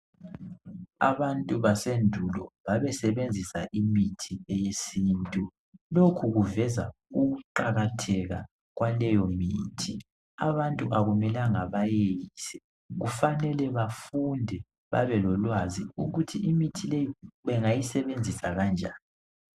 Abantu basendulo babesebenzisa imithi eyesintu lokhu kuveza ukuqakatheka kwaleyo mithi, abantu akumelanga bayeyise kufanele befunde babe lolwazi ukuthi imithi leyi bangayisebenzisa kanjani.